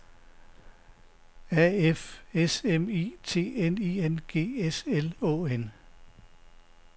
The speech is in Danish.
A F S M I T N I N G S L Å N